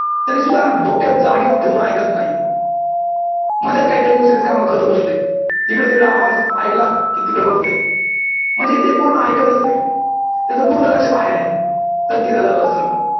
तरी सुद्धा डोकं जाग्यावर ठेऊन ऐकत नाही. मधेच काहीतरी दुसरेच काम करत बसला आहे इकडे तिकडे आवाज ऐकला कि तिकडे बघतोय म्हणजे ते पूर्ण ऐकतच नाही त्याचं पूर्ण लक्ष बाहेर आहे